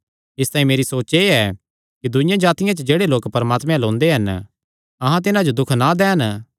इसतांई मेरी सोच एह़ ऐ कि दूईआं जातिआं च जेह्ड़े लोक परमात्मे अल्ल ओंदे हन अहां तिन्हां जो दुख ना दैन